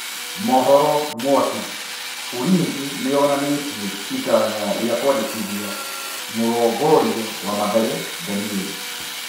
(Mohoro mwaki) Ulinzi nĩ yonanĩ tie itanya rĩ a kwandĩ kithia mũrongorio wa Mathare Danieri.